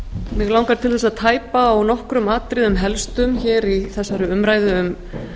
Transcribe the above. mig langar til þess að tæpa á nokkrum atriðum helstum hér í þessari umræðu um